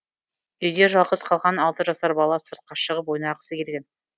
үйде жалғыз қалған алты жасар бала сыртқа шығып ойнағысы келген